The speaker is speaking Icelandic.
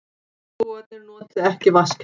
Íbúarnir noti ekki vatnskerfið